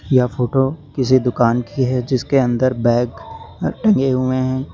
यह फोटो किसी दुकान की है जिसके अंदर बैग अ टंगे हुए हैं।